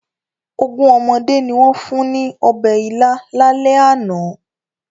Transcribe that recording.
Ogún ọmọdé ni wọ́n fún ní ọbẹ̀ ila lálẹ́ àná.